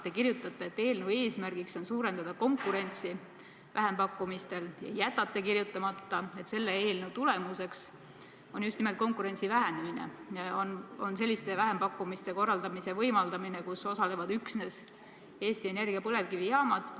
Te kirjutate, et eelnõu eesmärk on suurendada konkurentsi vähempakkumistel, ja jätate kirjutamata, et selle eelnõu tulemuseks on just nimelt konkurentsi vähenemine, selliste vähempakkumiste korraldamise võimaldamine, kus osalevad üksnes Eesti Energia põlevkivijaamad.